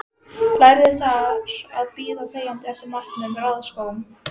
Lærði þar að bíða þegjandi eftir matnum, raða skóm.